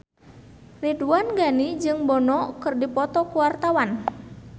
Ridwan Ghani jeung Bono keur dipoto ku wartawan